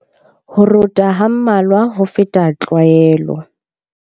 Ho rota ha mmalwa ho feta tlwaelo.